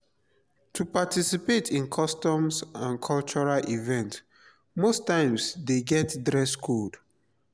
to participate in customs and cultural event most times de get dress code